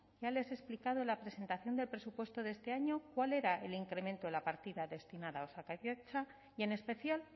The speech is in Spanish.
ya les he explicado en la presentación del presupuesto de este año cuál era el incremento de la partida destinada a osakidetza y en especial